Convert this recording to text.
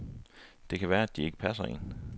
Det kan være, at de ikke passer en.